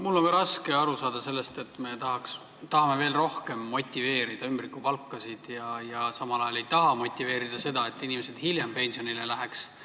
Mul on ka raske aru saada sellest, et me tahame veel rohkem motiveerida ümbrikupalkade maksmist ja samal ajal ei taha motiveerida seda, et inimesed hiljem pensionile läheks.